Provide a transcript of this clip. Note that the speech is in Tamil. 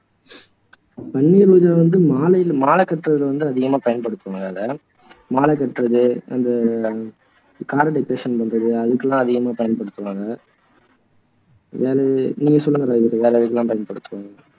பன்னிர் ரோஜா வந்து மாலைக மாலை கட்டுறது வந்து அதிகமா பயன்படுத்துவோம் அதை மாலை கட்டுறது அந்த ஆஹ் பண்றது அதுக்கெல்லாம் அதிகமா பயன்படுத்துவாங்க என நீங்க சொல்லுங்க ராஜதுரை வேற எதுக்கு எல்லாம் பயன்படுத்துவாங்க